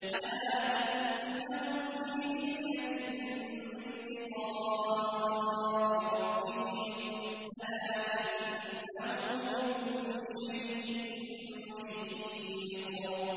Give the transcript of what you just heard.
أَلَا إِنَّهُمْ فِي مِرْيَةٍ مِّن لِّقَاءِ رَبِّهِمْ ۗ أَلَا إِنَّهُ بِكُلِّ شَيْءٍ مُّحِيطٌ